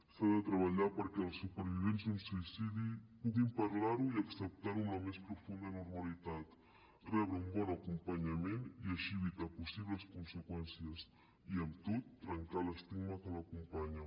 s’ha de treballar perquè els supervivents d’un suïcidi puguin parlar ho i acceptar ho amb la més profunda normalitat rebre un bon acompanyament i així evitar possibles conseqüències i amb tot trencar l’estigma que l’acompanya